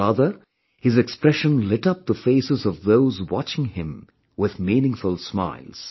Rather, his expression lit up the faces of those watching him with meaningful smiles